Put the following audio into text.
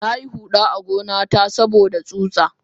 Nayi huda a gona ta saboda tsutsa.